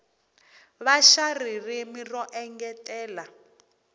va xa ririmi ro engetela